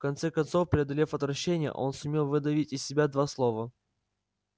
в конце концов преодолев отвращение он сумел выдавить из себя два слова